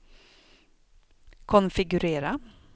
konfigurera